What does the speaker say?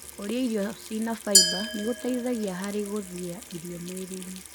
Kũrĩa irio cĩina faiba nĩgũteithagia harĩ gũthia irio mwĩrĩinĩ.